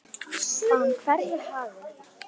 Að hún hverfi í hafið.